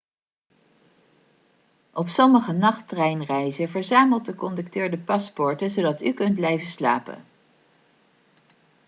op sommige nachttreinreizen verzamelt de conducteur de paspoorten zodat u kunt blijven slapen